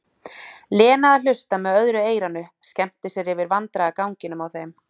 Lena að hlusta með öðru eyranu, skemmti sér yfir vandræðaganginum á þeim.